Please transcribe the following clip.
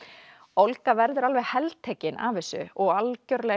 Olga verður alveg heltekin af þessu og algjörlega